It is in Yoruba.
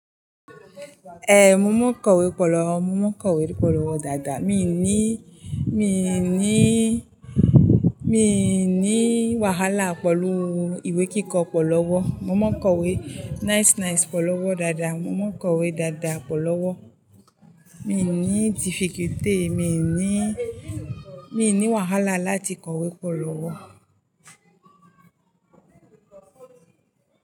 Eh, mo mọ̀ kọ̀wé pẹ lọ́wọ́, mo mọ̀ kọ̀wé pọ̀ lọ́wọ́ dáadáa, mi ò ní, mi ò ní, mi ò ní wàhálà pẹ̀lú ìwé kíkọ pọ̀ lọ́wọ́. Mo mọ̀ kọ̀wé nice nice pọ̀ lọ́wọ́ dáadáa, mo mọ̀ kọ̀wé dáadáa pọ̀ lọ́wọ́. Mi ò ní difficulty, mi ò ní, mi ò ní wàhálà láti kọ̀wé pọ̀ lọ́wọ́